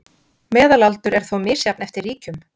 Meðalaldur er þó misjafn eftir ríkjum